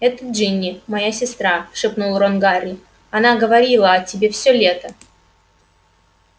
это джинни моя сестра шепнул рон гарри она говорила о тебе всё лето